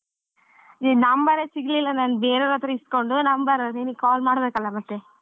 ನಿನ್ number ಸಿಗ್ಲಿಲ್ಲಾ ನಾನ್ ಬೇರೆವ್ರತ್ರ ಇಸ್ಕೊಂಡ್ number ನಿನಿಗ್ call ಮಾಡ್ಬೇಕಲ್ಲಾ ಮತ್ತೆ.